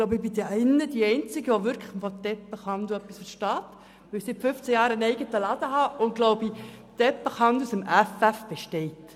Ich glaube, ich bin hier die Einzige, die etwas vom Teppichhandel versteht, weil ich seit 15 Jahren einen eigenen Laden habe und den Teppichhandel aus dem Effeff kenne.